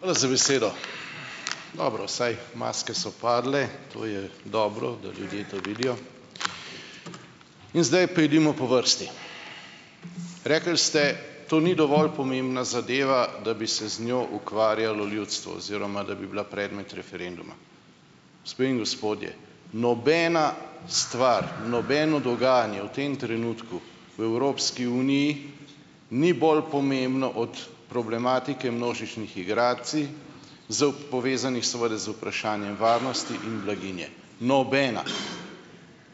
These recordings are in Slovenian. Hvala za besedo. Dobro, vsaj maske so padle, to je dobro, da ljudje to vidijo. In zdaj pojdimo po vrsti. Rekli ste, to ni dovolj pomembna zadeva, da bi se z njo ukvarjalo ljudstvo oziroma da bi bila predmet referenduma. Gospe in gospodje, nobena stvar, nobeno dogajanje v tem trenutku v Evropski uniji ni bolj pomembno od problematike množičnih migracij, s povezanih seveda z vprašanjem varnosti in blaginje. Nobena!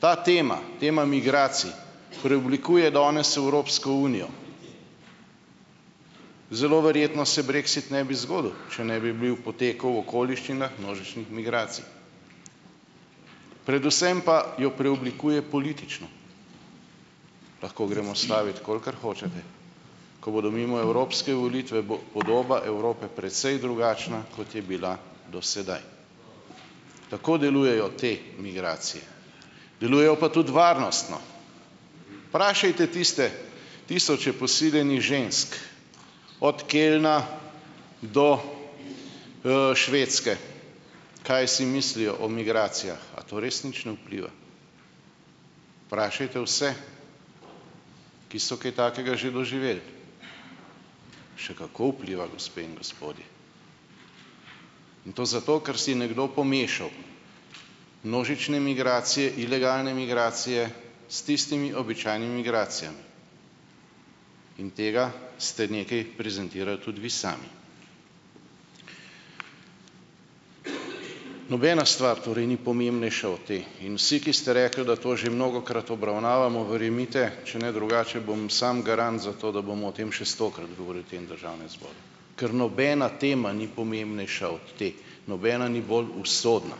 Ta tema, tema migracij, preoblikuje danes Evropsko unijo. Zelo verjetno se brexit ne bi zgodil, če ne bi bil potekal v okoliščinah množičnih migracij. Predvsem pa jo preoblikuje politično. Lahko gremo stavit, kolikor hočete. Ko bodo mimo evropske volitve, bo podoba Evrope precej drugačna, kot je bila do sedaj. Tako delujejo te migracije. Delujejo pa tudi varnostno. Vprašajte tiste tisoče posiljenih žensk - od Kölna do Švedske - kaj si mislijo o migracijah? A to res nič ne vpliva? Vprašajte vse, ki so kaj takega že doživeli? Še kako vpliva, gospe in gospodje. In to zato, ker si nekdo pomešal množične migracije, ilegalne migracije s tistimi običajnimi migracijami, in tega ste nekaj prezentirali tudi vi sami. Nobena stvar torej ni pomembnejša od te in vsi, ki ste rekli, da to že mnogokrat obravnavamo, verjemite, če ne drugače, bom sam garant za to, da bomo o tem še stokrat govorili v tem Državnem zboru, ker nobena tema ni pomembnejša od te. Nobena ni bolj usodna.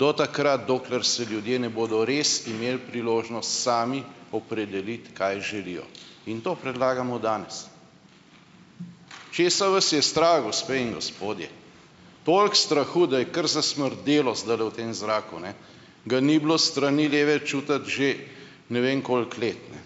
Do takrat, dokler se ljudje ne bodo res imeli priložnost sami opredeliti, kaj želijo, in to predlagamo danes. Česa vas je strah, gospe in gospodje? Toliko strahu, da je kar zasmrdelo zdajle v tem zraku, ne, ga ni bilo s strani leve čutiti že ne vem koliko let, ne,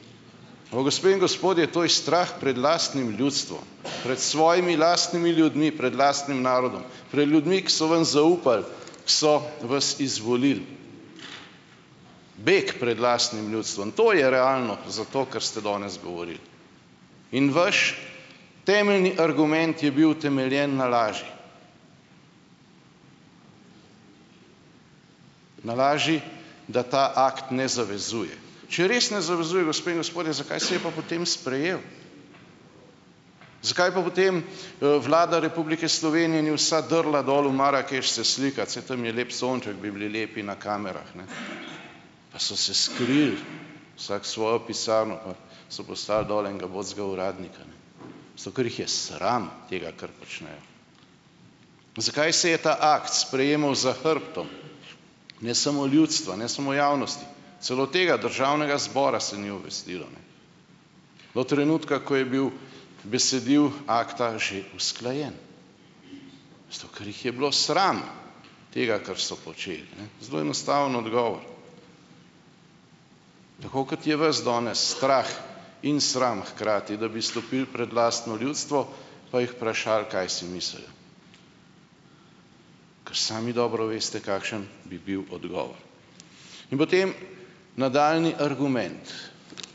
ampak gospe in gospodje, to je strah pred lastnim ljudstvom, pred svojimi lastnimi ljudmi, pred lastnim narodom, pred ljudmi, ki so vam zaupali, so vas izvolili. Beg pred lastnim ljudstvom - to je realno za to, kar ste danes govorili. In vaš temeljni argument je bil utemeljen na laži. Na laži, da ta akt ne zavezuje. Če res ne zavezuje, vas, gospe in gospodje, zakaj se je pa potem sprejel? Zakaj je pa potem, Vlada Republike Slovenije ni vsa drla dol v Marakeš se slikat, saj tam je lep sonček, bi bili lepi na kamerah, ne? Pa so se skrili, vsak v svojo pisarno pa so poslali dol enega ubogega uradnika, ne. Zato ker jih je sram tega, kar počnejo. Pa zakaj se je ta akt sprejemal za hrbtom? Ne samo ljudstva, ne samo javnosti, celo tega Državnega zbora se ni obvestilo. Do trenutka, ko je bilo besedilo akta že usklajeno. Zato, ker jih je bilo sram tega, kar so počeli, ne. Zelo enostaven odgovor. Tako kot je vas danes strah in sram, hkrati, da bi stopili pred lastno ljudstvo, pa jih vprašali, kaj si mislijo, ker sami dobro veste, kakšen bi bil odgovor. In potem, nadaljnji argument,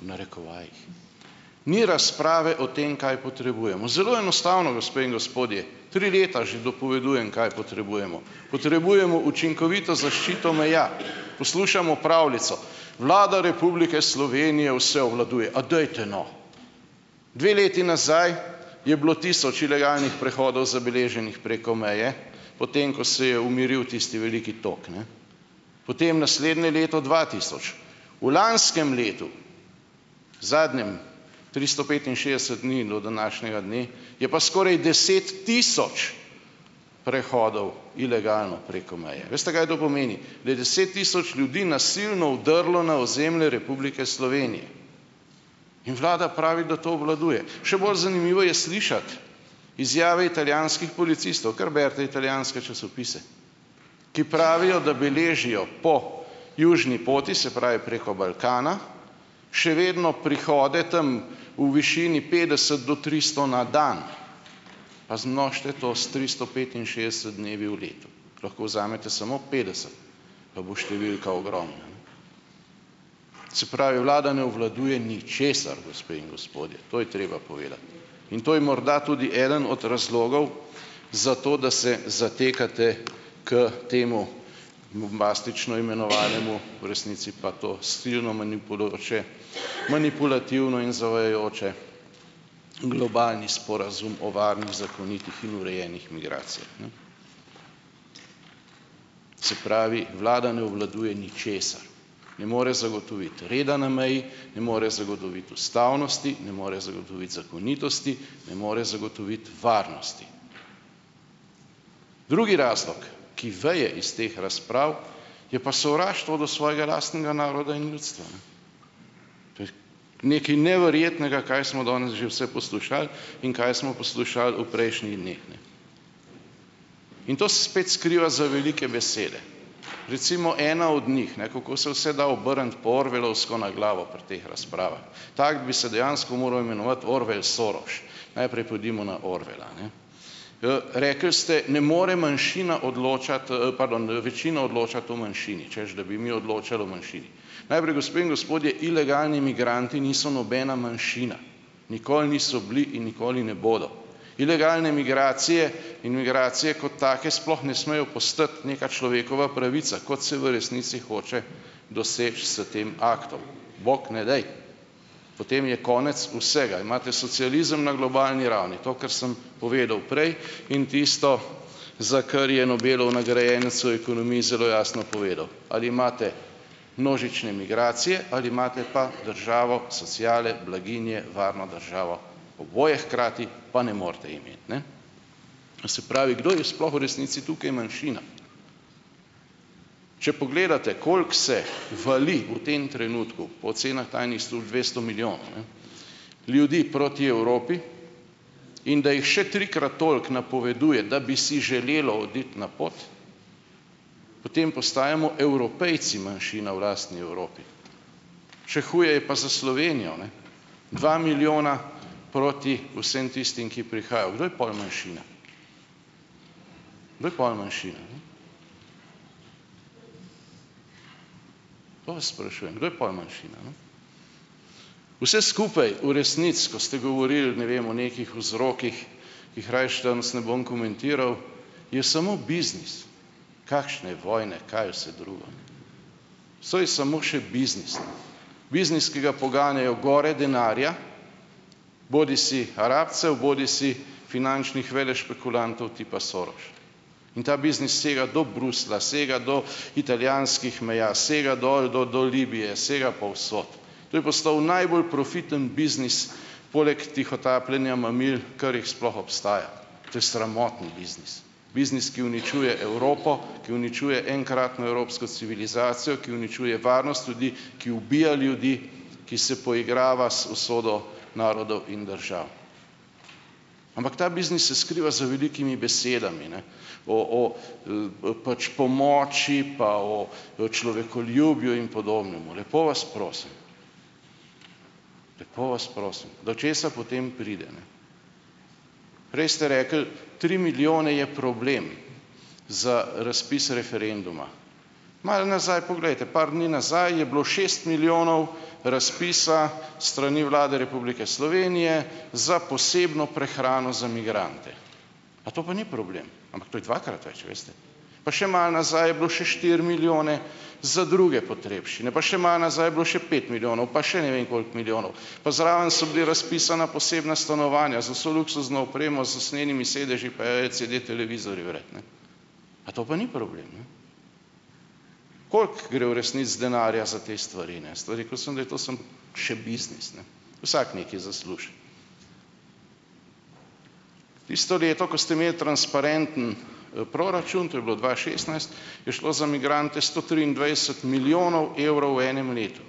v narekovajih, ni razprave o tem, kaj potrebujemo. Zelo enostavno, gospe in gospodje. Tri leta že dopovedujem, kaj potrebujemo. Potrebujemo učinkovito zaščito meja. Poslušamo pravljico, Vlada Republike Slovenije vse obvladuje. A dajte no! Dve leti nazaj je bilo tisoč ilegalnih prehodov zabeleženih preko meje, po tem, ko se je umiril tisti veliki tok, ne. Potem naslednje leto dva tisoč. V lanskem letu, zadnjem, tristo petinšestdeset dni do današnjega dne, je pa skoraj deset tisoč prehodov ilegalno preko meje. Veste, kaj to pomeni? Da je deset tisoč ljudi nasilno Vdrlo na ozemlje Republike Slovenije. In vlada pravi, da to obvladuje. Še bolj zanimivo je slišati izjave italijanskih policistov, kar berite italijanske časopise, ki pravijo, da beležijo po južni poti, se pravi preko Balkana, še vedno prihode tam, v višini petdeset do tristo na dan, pa zmnožite to s tristo petinšestdeset dnevi v letu, lahko vzamete samo petdeset, pa bo številka ogromna. Se pravi, vlada ne obvladuje ničesar, gospe in gospodje, to je treba povedati in to je morda tudi eden od razlogov, zato, da se zatekate k temu bombastično imenovanemu, v resnici pa to silno manipulativno in zavajajoče, globalni sporazum o varnih, zakonitih in urejenih migracijah. Se pravi, vlada ne obvladuje ničesar, ne more zagotoviti reda na meji, ne more zagotoviti ustavnosti, ne more zagotoviti zakonitosti, ne more zagotoviti varnosti. Drugi razlog, ki veje iz teh razprav, je pa sovraštvo do svojega lastnega naroda in ljudstva, ne. To je nekaj neverjetnega, kaj smo danes že vse poslušali in kaj smo poslušali v prejšnjih dneh, ne. In to se spet skriva za velike besede. Recimo ena od njih, ne, kako se vse da obrniti po orwellovsko na glavo pri teh razpravah. Tako bi se dejansko moral imenovati: Orwell Soros. Najprej pojdimo na Orwella, ne. Rekli ste, ne more manjšina odločati, pardon, večina odločati o manjšini, češ da bi mi odločali o manjšini. Najprej, gospe in gospodje, ilegalni migranti niso nobena manjšina, nikoli niso bili in nikoli ne bodo. Ilegalne migracije in migracije kot take sploh ne smejo postati neka človekova pravica, kot se v resnici hoče doseči s tem aktom. Bog ne daj. Potem je konec vsega. Imate socializem na globalni ravni, to kar sem povedal prej in tisto, za kar je Nobelov nagrajenec v ekonomiji zelo jasno povedal, ali imate množične migracije ali imate pa državo sociale, blaginje, varno državo, oboje hkrati pa ne morate imeti, ne. To se pravi, kdo je sploh v resnici tukaj manjšina. Če pogledate, koliko se vali v tem trenutku po ocenah tajnih služb dvesto milijonov, ne, ljudi proti Evropi, in da jih še trikrat toliko napoveduje, da bi si želelo oditi na pot, potem postajamo Evropejci manjšina v lastni Evropi. Še huje je pa za Slovenijo, ne. Dva milijona proti vsem tistim, ki prihajajo. Kdo je pol manjšina? Kdo je pol manjšina, ne? To vas sprašujem, kdo je pol manjšina, ne. Vse skupaj v resnici, ko ste govorili, ne vem, o nekih vzrokih, ki jih rajši danes ne bom komentiral, je samo biznis, kakšne vojne, kaj vse drugo. Vso je samo še biznis. Biznis, ki ga poganjajo gore denarja bodisi Arabcev bodisi finančnih velešpekulantov tipa Soros, in ta biznis sega do Bruslja, sega do italijanskih meja, sega dol do do Libije, sega povsod. To je postal najbolj profiten biznis poleg tihotapljenja mamil, kar jih sploh obstaja. To je sramotni biznis. Biznis, ki uničuje Evropo, ki uničuje enkratno evropsko civilizacijo, ki uničuje varnost ljudi, ki ubija ljudi, ki se poigrava z usodo narodov in držav. Ampak ta biznis se skriva za velikimi besedami, ne, o o pač pomoči pa o človekoljubju in podobnemu. Lepo vas prosim! Lepo vas prosim, do česa potem pride, ne. Prej ste rekli, tri milijone je problem za razpis referenduma. Malo nazaj poglejte, par dni nazaj je bilo šest milijonov razpisa s strani Vlade Republike Slovenije za posebno prehrano za migrante. A to pa ni problem? Ampak to je dvakrat več, veste. Pa še malo nazaj je bilo še štiri milijone za druge potrebščine, pa še malo nazaj je bilo še pet milijonov pa še ne vem koliko milijonov. Pa zraven so bili razpisana posebna stanovanja z vso luksuzno opremo, z usnjenimi sedeži pa LCD televizorji vred, ne. A to pa ni problem, ne? Koliko gre v resnici denarja za te stvari, ne? Stvari. Rekel sem, da je to samo še biznis, ne, vsak nekaj zasluži. Tisto leto, ko ste imeli transparenten proračun, to je bilo dva šestnajst, je šlo za migrante sto triindvajset milijonov evrov v enem letu.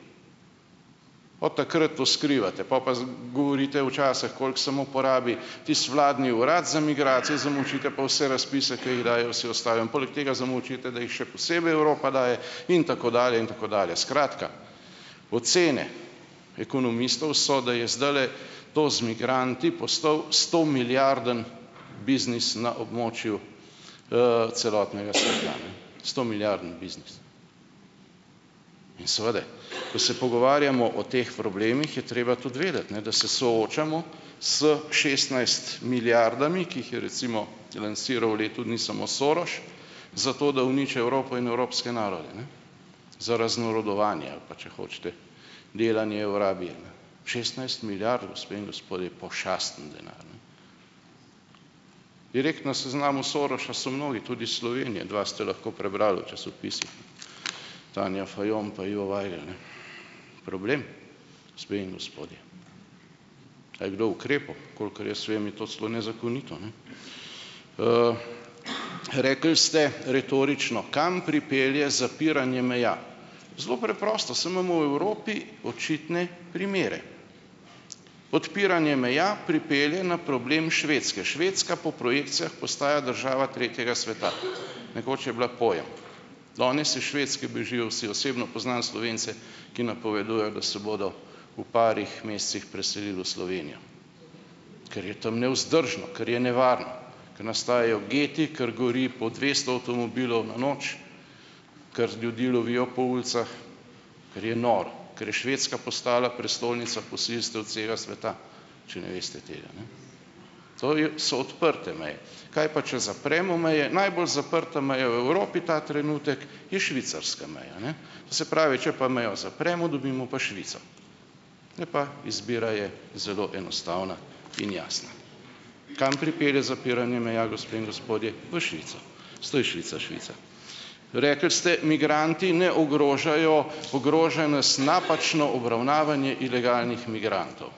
Od takrat to skrivate, pol pa govorite včasih, koliko samo porabi tisti vladni urad za migracije, zamolčite pa vse razpise, ker jih dajejo vsi ostali, in poleg tega zamolčite, da jih še posebej Evropa daje, in tako dalje, in tako dalje. Skratka, ocene ekonomistov so, da je zdajle to z migranti postal stomilijardni biznis na območju celotnega sveta, ne. stomilijardni biznis. In seveda, ko se pogovarjamo o teh problemih, je treba tudi vedeti, ne, da se soočamo s šestnajst milijardami, ki jih je recimo lansiral v letu dni samo Soros zato, da uniči Evropo in evropske narode, ne, za raznarodovanje ali pa, če hočete, delanje šestnajst milijard, gospe in gospodje, pošasten denar, ne. Direkt na seznamu Sorosa so mnogi, tudi s Slovenije. Dva ste lahko prebrali v časopisih, ne, Tanja Fajon pa Ivo Vajgl, ne. Problem, gospe in gospodje. A je kdo ukrepal? Kolikor jaz vem, je to celo nezakonito, ne. Rekli ste retorično, kam pripelje zapiranje meja. Zelo preprosto, saj imamo v Evropi očitne primere. Odpiranje meja pripelje na problem Švedske. Švedska po projekcijah postaja država tretjega sveta. Nekoč je bila pojem. Danes iz Švedske bežijo vsi. Osebno poznam Slovence, ki napovedujejo, da se bodo v parih mesecih preselili v Slovenijo, ker je tam nevzdržno, ker je nevarno, ker nastajajo geti, ker gori po dvesto avtomobilov na noč, ker ljudi lovijo po ulicah, ker je noro, ker je Švedska postala prestolnica posilstev celega sveta, če ne veste tega, ne. To je, so odprte meje. Kaj pa, če zapremo meje? Najbolj zaprta meja v Evropi ta trenutek je švicarska meja, ne. To se pravi, če pa mejo zapremo, dobimo pa Švico. Ne, pa izbira je zelo enostavna in jasna. Kam pripelje zapiranje meja, gospe in gospodje? V Švico, zato je Švica Švica. Rekli ste, migranti ne ogrožajo, ogrožajo nas napačno obravnavanje ilegalnih migrantov.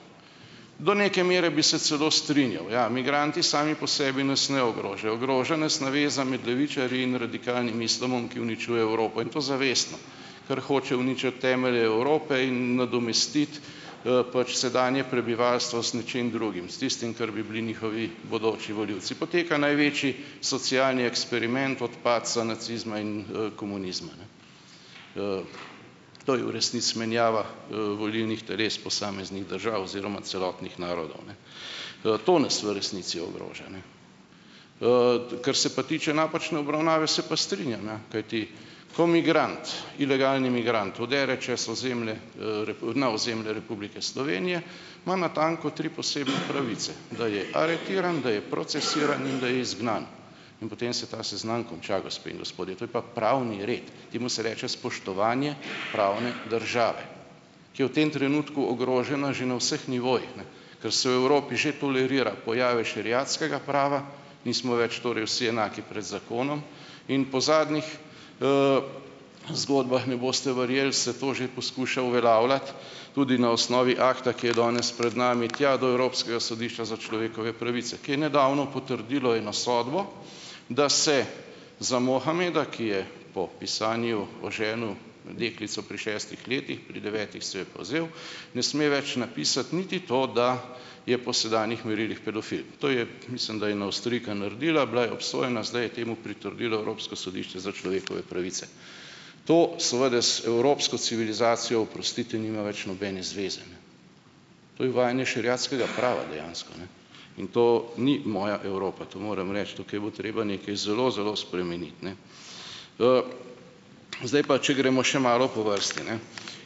Do neke mere bi se celo strinjal. Ja, migranti sami po sebi nas ne ogrožajo. Ogroža nas naveza med levičarji in radikalnim islamom, ki uničuje Evropo, in to zavestno, ker hočejo uničiti temelje Evrope in nadomestiti pač sedanje prebivalstvo z nečim drugim, s tistim, kar bi bili njihovi bodoči volivci. Poteka največji socialni eksperiment od padca nacizma in komunizma, ne. To je v resnici menjava volilnih teles posameznih držav oziroma celotnih narodov, ne. To nas v resnici ogroža, ne. Kar se pa tiče napačne obravnave, se pa strinjam, ja kajti ko migrant, ilegalni migrant vdre čez ozemlje, na ozemlje Republike Slovenije, ima natanko tri posebne pravice, da je aretiran, da je procesiran in da je izgnan. In potem se ta seznam konča, gospe in gospodje. To je pa pravni red. Temu se reče spoštovanje pravne države, ki je v tem trenutku ogrožena že na vseh nivojih, ne, ker se v Evropi že tolerira pojavi šeriatskega prava, nismo več torej vsi enaki pred zakonom, in po zadnjih zgodbah, ne boste verjeli, se to že poskuša uveljavljati tudi na osnovi akta, ki je danes pred nami, tja do Evropskega sodišča za človekove pravice, ki je nedavno potrdilo eno sodbo, da se za Mohameda, ki je po pisanju oženil deklico pri šestih letih, pri devetih si jo je pa vzel, ne sme več napisati niti to, da je po sedanjih merilih pedofil. To je, mislim da, ena Avstrijka naredila, bila je obsojena, zdaj je temu pritrdilo Evropsko sodišče za človekove pravice. To seveda z evropsko civilizacijo, oprostite, nima več nobene zveze, ne. To je uvajanje šeriatskega prava dejansko, ne, in to ni moja Evropa. To moram reči. Tukaj bo treba nekaj zelo, zelo spremeniti, ne. Zdaj pa, če gremo še malo po vrsti, ne.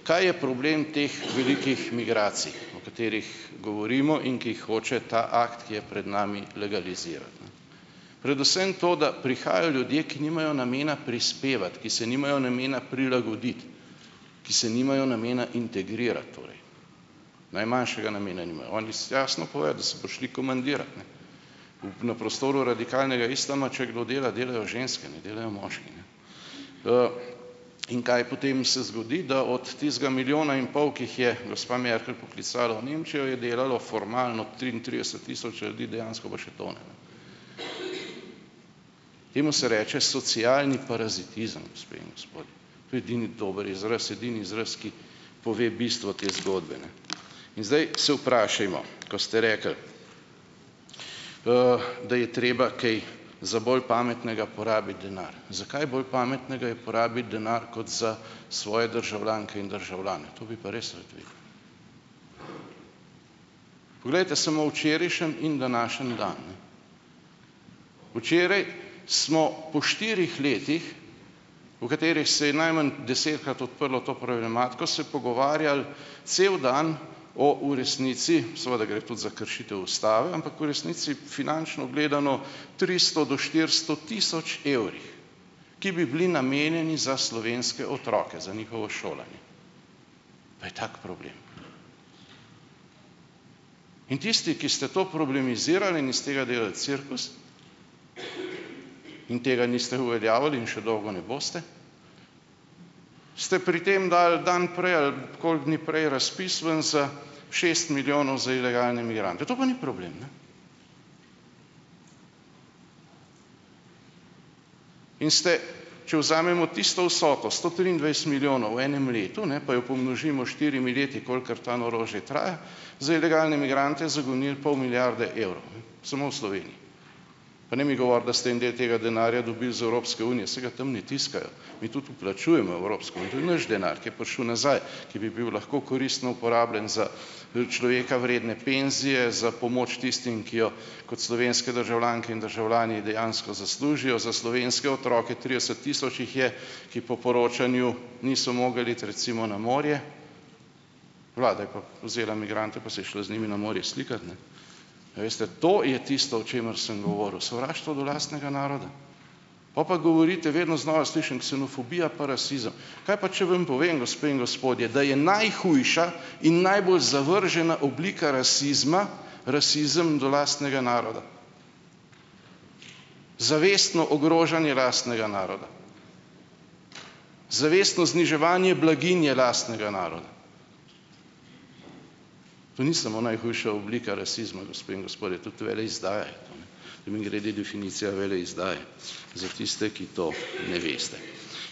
Kaj je problem teh velikih migracij, o katerih govorimo in ki jih hoče ta akt, ki je pred nami, legalizirati, ne? Predvsem to, da prihajajo ljudje, ki nimajo namena prispevati, ki se nimajo namena prilagoditi, ki se nimajo namena integrirati torej, najmanjšega namena nimajo. Oni jasno povejo, da so prišli komandirati, ne. Na prostoru radikalnega islama, če kdo dela, delajo ženske, ne delajo moški, ne. In kaj potem se zgodi? Da od tistega milijona in pol, ki jih je gospa Merkel poklicala v Nemčijo, je delalo formalno triintrideset tisoč ljudi, dejansko pa še to ne, ne. Temu se reče socialni parazitizem, gospe in gospodje. To je edini dober izraz, edini izraz, ki pove bistvo te zgodbe, ne. In zdaj se vprašajmo. Ko ste rekli, da je treba kaj za bolj pametnega porabiti denar. Za kaj bolj pametnega je porabiti denar kot za svoje državljanke in državljane? To bi pa res rad vedel. Poglejte samo včerajšnji in današnji dan, ne. Včeraj smo po štirih letih, v katerih se je najmanj desetkrat odprlo to problematiko, se pogovarjali cel dan o v resnici, seveda gre tudi za kršitev Ustave, ampak v resnici, finančno gledano, tristo do štiristo tisoč evrih, ki bi bili namenjeni za slovenske otroke, za njihovo šolanje. Pa je tak problem. In tisti, ki ste to problematizirali in iz tega delali cirkus in tega niste uveljavili in še dolgo ne boste, ste pri tem dali dan prej ali koliko dni prej razpis ven za šest milijonov za ilegalne migrante, to pa ni problem, ne? In ste, če vzamemo tisto vsoto - sto triindvajset milijonov v enem letu, ne, pa jo pomnožimo s štirimi leti, kolikor ta norost že traja, za ilegalne migrante "zagonili" pol milijarde evrov, ne, samo v Sloveniji. Pa ne mi govoriti, da ste en del tega denarja dobili iz Evropske unije - saj ga tam ne tiskajo, mi tudi vplačujemo v Evropsko, in to je naš denar, ki je prišel nazaj, ki bi bil lahko koristno uporabljen za za človeka vredne penzije, za pomoč tistim, ki jo kot slovenske državljanke in državljani dejansko zaslužijo, za slovenske otroke, trideset tisoč jih je, ki po poročanju niso mogli iti recimo na morje, vlada je pa vzela migrante, pa se je šla z njimi na morje slikat, ne. A veste, to je tisto, o čemer sem govoril, sovraštvo do lastnega naroda, pol pa govorite, vedno znova slišim, ksenofobija pa rasizem. Kaj pa, če vam povem, gospe in gospodje, da je najhujša in najbolj zavržena oblika rasizma, rasizem do lastnega naroda. Zavestno ogrožanje lastnega naroda, zavestno zniževanje blaginje lastnega naroda. To ni samo najhujša oblika rasizma, gospe in gospodje, tudi veleizdaja je to, ne. Mimogrede, definicija veleizdaje, za tiste, ki to ne veste.